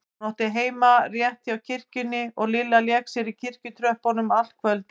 Hún átti heima rétt hjá kirkjunni og Lilla lék sér í kirkjutröppunum allt kvöldið.